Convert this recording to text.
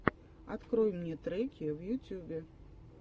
открой мне треки в ютубе